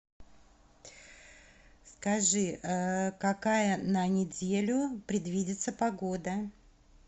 скажи какая на неделю предвидится погода